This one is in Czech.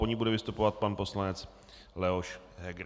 Po ní bude vystupovat pan poslanec Leoš Heger.